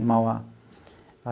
Em Mauá.